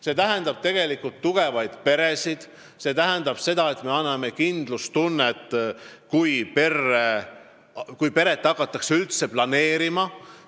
See tähendab tugevaid peresid, see tähendab seda, et me tagame kindlustunde, kui peret hakatakse üldse planeerima.